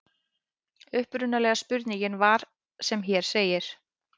Upprunalega spurningin var sem hér segir: